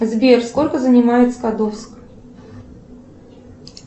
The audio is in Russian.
сбер сколько занимает скадовск